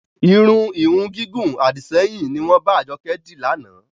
Irun ìhun gígùn Àdìsẹ́yìn ni wọn bá Ajoke di lànà.